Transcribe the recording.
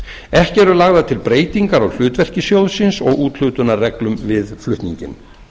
ekki eru lagðar til breytingar á hlutverki sjóðsins og úthlutunarreglum við flutninginn